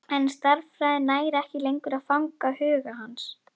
En stærðfræðin nær ekki lengur að fanga huga hans.